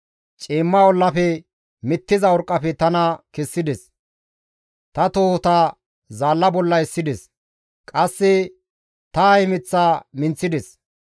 Ciimma ollafe, mittiza urqqafe tana kessides; ta tohota zaalla bolla essides; qasse ta hemeththa minththides.